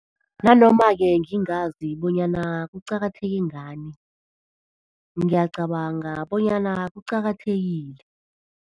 Nanoma-ke ngingazi bonyana kuqakatheke ngani, ngiyacabanga bonyana kuqakathekile.